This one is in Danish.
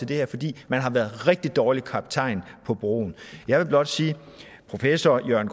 det her fordi man har været en rigtig dårlig kaptajn på broen jeg vil blot sige at professor jørgen